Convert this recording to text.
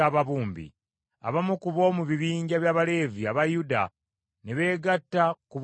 Abamu ku b’omu bibinja by’Abaleevi aba Yuda, ne beegatta ku b’omu Benyamini.